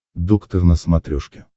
доктор на смотрешке